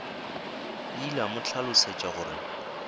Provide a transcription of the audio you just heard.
ile a mo hlalosetša gore